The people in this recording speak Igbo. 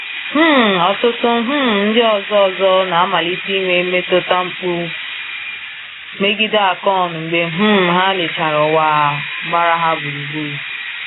um Ọtụtụ um ndị ọzọ ọzọ na-amalite inwe mmetụta mgbu megide Akọn mgbe um ha lechara ụwa gbara ha gburugburu.